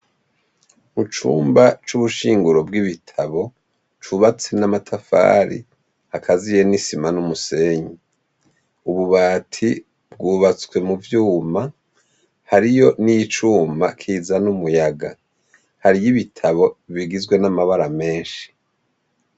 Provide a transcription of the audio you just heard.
Mu cumba c'ubushinguro bw'ibitabo cubatse n'amatafari akaziye n'isima n'umusenyi. Ububati bwubatswe mu vyuma hariyo n'icuma kiza n'umuyaga hariy ibitabo bigizwe n'amabara menshi.